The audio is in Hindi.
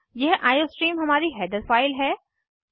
यह आईओस्ट्रीम हमारी हैडर फाइल है